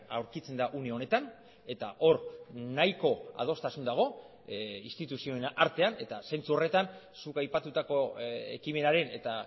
aurkitzen da une honetan eta hor nahiko adostasun dago instituzioen artean eta zentzu horretan zuk aipatutako ekimenaren eta